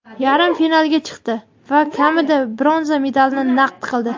yarim finalga chiqdi va kamida bronza medalni naqd qildi.